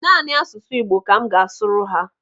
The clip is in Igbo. Naanị asụsụ Igbo ka m ga-asụrụ ha.